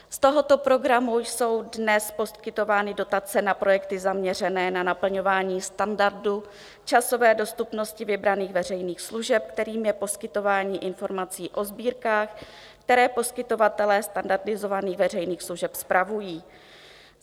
Z tohoto programu jsou dnes poskytovány dotace na projekty zaměřené na naplňování standardu, časové dostupnosti vybraných veřejných služeb, kterým je poskytování informací o sbírkách, které poskytovatelé standardizovaných veřejných služeb spravují.